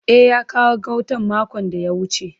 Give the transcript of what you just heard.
E, ya kawo gautan makon da ya wuce.